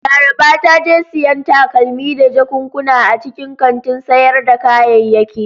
Laraba ta je siyan takalmi da jakunkuna a cikin kantin sayar da kayayyaki.